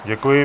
Děkuji.